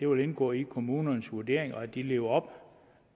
vil indgå i kommunernes vurdering og at de lever op